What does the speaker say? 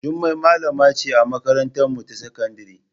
Jummai malama ce a makarantarmu ta sakandare.